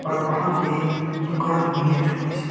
और वहां पे एक दुकान भी है छोटी सी।